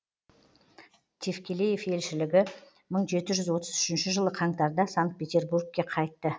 тевкелеев елшілігі мың жеті жүз отыз үшінші жылы қаңтарда санкт петербургке қайтты